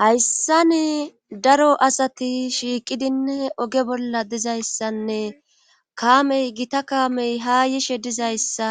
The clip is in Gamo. hayssan daro asati shiiqidine oge bolla dizayssanne kaamey gita kaamey ha yishe dizayssa